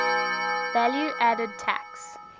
value added tax